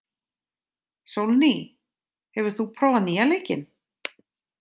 Sólný, hefur þú prófað nýja leikinn?